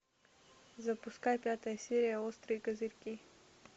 запускай пятая серия острые козырьки